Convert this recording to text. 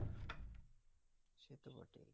সে তো বটেই,